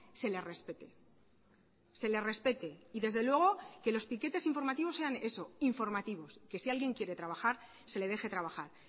se le respete se le respete y desde luego que los piquetes informativos sean eso informativos que si alguien quiere trabajar se le deje trabajar